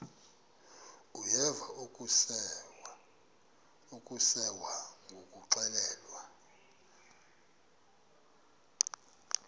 uyeva akuseva ngakuxelelwa